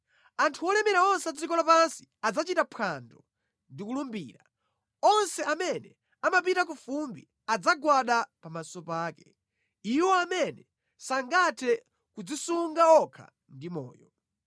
Anthu olemera onse a dziko lapansi adzachita phwando ndi kulambira; onse amene amapita ku fumbi adzagwada pamaso pake; iwo amene sangathe kudzisunga okha ndi moyo.